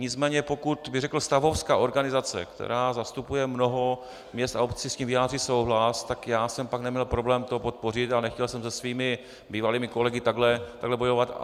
Nicméně pokud, řekl bych, stavovská organizace, která zastupuje mnoho měst a obcí, s tím vyjádří souhlas, tak já jsem pak neměl problém to podpořit a nechtěl jsem se svými bývalými kolegy takhle bojovat.